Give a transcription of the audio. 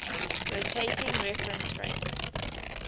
rotating reference frame